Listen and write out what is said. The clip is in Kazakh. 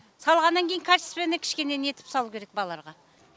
салғаннан кейін качественный кішкене нетіп салу керек балаларға